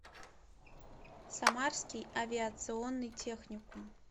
самарский авиационный техникум